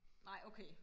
nej okay